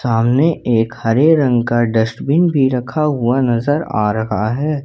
अमने एक हरे रंग का डस्टबिन भी रखा हुआ नजर आ रहा है।